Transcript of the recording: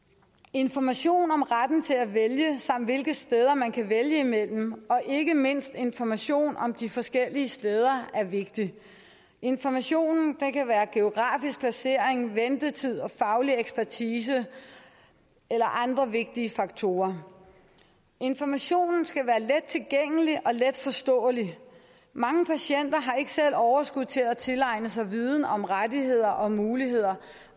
information om retten til at vælge samt hvilke steder man kan vælge mellem og ikke mindst information om de forskellige steder er vigtig informationen kan være om geografisk placering ventetid og faglig ekspertise eller andre vigtige faktorer informationen skal være let tilgængelig og letforståelig mange patienter har ikke selv overskud til at tilegne sig viden om rettigheder og muligheder